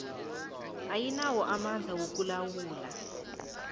ayinawo amandla wokulawula